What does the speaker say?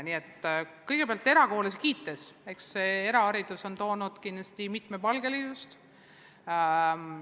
Nii et kõigepealt, kui erakoole kiita, siis eraharidus on toonud kindlasti juurde mitmepalgelisust.